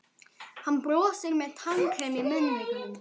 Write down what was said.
Hann brosir með tannkrem í munnvikunum.